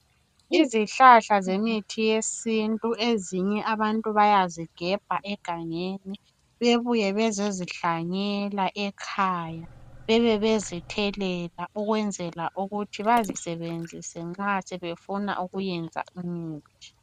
Izihlahla zemithi yesintu ezinye abantu bayazigebha egangeni bebuye bezozihlanyela ekhaya bebe bezithelela ukwenzela ukuthi bazisebenzise nxa sebefuna ukuyenza imithi.